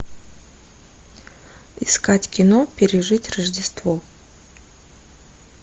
искать кино пережить рождество